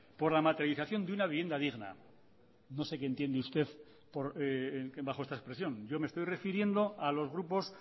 por la materialización de una vivienda digna no sé qué entiende usted bajo esta expresión yo me estoy refiriendo a los grupos